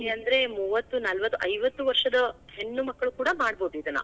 ಅಂದ್ರೆ ಮೂವತ್ತು, ನಾಲ್ವತ್ ಐವತ್ತು ವರ್ಷದ ಹೆಣ್ಣು ಮಕ್ಕಳು ಕೂಡಾ ಮಾಡ್ಬೋದ್ದಿದ್ನಾ.